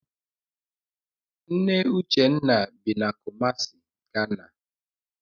Nne Uchenna bi na Kumasi, Ghana.